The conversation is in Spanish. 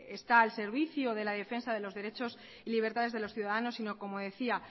está el servicio de la defensa de los derechos y libertades de los ciudadanos sino como decía